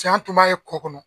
an tun b'a ye kɔ kɔnɔ.